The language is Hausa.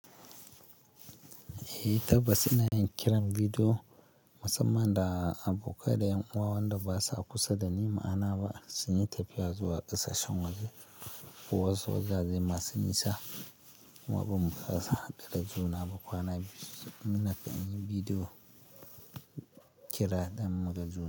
Eh tabbas ina yin kiran bidiyo musamman da abokai da 'yan uwa wanda basa kusa dani, ma'ana ba suna tafiya zuwa ƙasashen waje ko wasu wajaje masu nisa. Kuma ba fa sa hadu da juna ba kwana biyu sai muna fa yi bidiyo kira don mun gan juna.